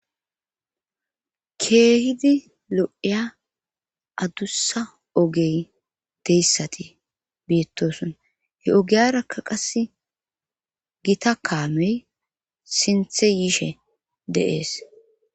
Keehidi lo7iya adussa ogey deyssati beettoson he ogeyarakka qasse gita kaamey sinthe yiishe deees